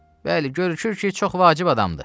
Bəli, görünür ki, çox vacib adamdır.